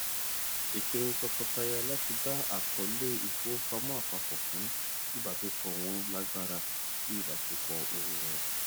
ìpinnu tọkọtaya láti dá àkọọlẹ ìfowópamọ apapọ fún ìbágbépọ wọn lágbára sí ìbáṣepọ owó wọn